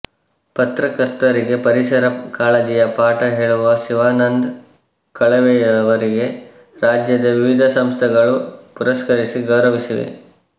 ಪತ್ರಕರ್ತರಿಗೆ ಪರಿಸರ ಕಾಳಜಿಯ ಪಾಠ ಹೇಳುವ ಶಿವಾನಂದ ಕಳವೆಯವರಿಗೆ ರಾಜ್ಯದ ವಿವಿಧ ಸಂಘಸಂಸ್ಥೆಗಳು ಪುರಸ್ಕರಿಸಿ ಗೌರವಿಸಿವೆ